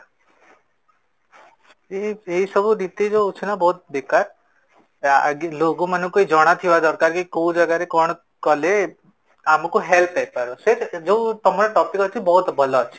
ଏ ଏଇ ସବୁ ଯୋଉ ହୋଉଛି ନା ସବୁ ବେକାର, ଆଗେ ଲୋକ ମାଙ୍କୁ ଜଣ ଥିବା ଦରକାର କି କୋଉ ଜାଗା ରେ କଣ କଲେ ଆମକୁ help ହେଇ ପାରିବ, ସେ ଯୋଉ ତମ topic ଅଛି ବହୁତ ଭଲ ଅଛି